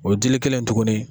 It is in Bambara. O dili kelen tuguni.